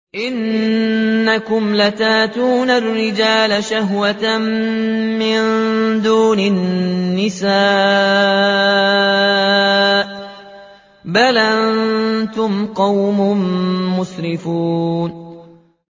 إِنَّكُمْ لَتَأْتُونَ الرِّجَالَ شَهْوَةً مِّن دُونِ النِّسَاءِ ۚ بَلْ أَنتُمْ قَوْمٌ مُّسْرِفُونَ